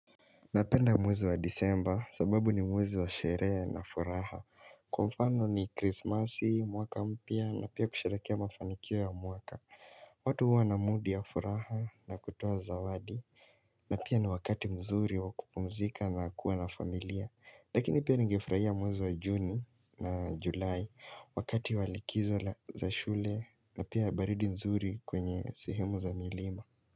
Napenda mwezi wa disemba sababu ni mwezi wa sherehe na furaha Kwa mfano ni krismasi, mwaka mpya na pia kusherehekea mafanikio ya mwaka watu huwa na mood ya furaha na kutoa zawadi na pia ni wakati mzuri wakupumzika na kuwa na familia Lakini pia nigefurahia mwezi wa juni na julai wakati wa likizo za shule na pia baridi mzuri kwenye sehemu za milima.